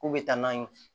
K'u bɛ taa n'a ye